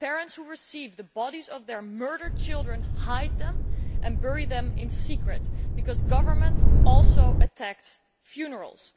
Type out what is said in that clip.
Parents who receive the bodies of their murdered children hide them and bury them in secret because the government also attacks funerals.